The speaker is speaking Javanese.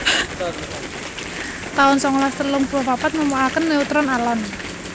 taun songolas telung puluh papat Nemokaken neutron alon